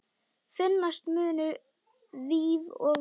Finnast munu víf og ver.